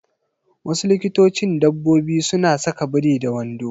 Wasu likitocin dabbobi suna saka biri da wando.